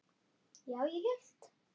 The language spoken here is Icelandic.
Já, ég hélt.